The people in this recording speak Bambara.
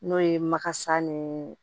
N'o ye makasa nii